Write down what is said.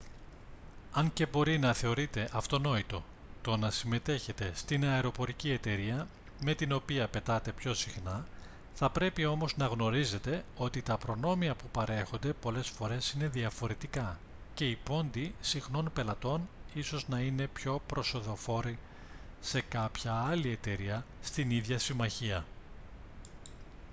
αν και μπορεί να θεωρείτε αυτονόητο το να συμμετέχετε στην αεροπορική εταιρεία με την οποία πετάτε πιο συχνά θα πρέπει όμως να γνωρίζετε ότι τα προνόμια που παρέχονται πολλές φορές είναι διαφορετικά και οι πόντοι συχνών πελατών ίσως να είναι πιο προσοδοφόροι σε κάποια άλλη εταιρεία στην ίδια συμμαχία